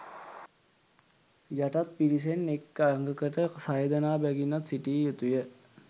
යටත් පිරිසෙන් එක් අඟකට සයදෙනා බැගින්වත් සිටිය යුතුය